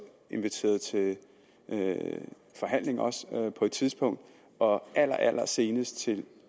inviteret til forhandlinger på et tidspunkt og allerallersenest til